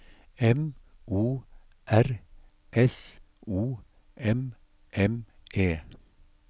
M O R S O M M E